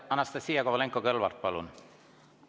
Anastassia Kovalenko-Kõlvart, palun!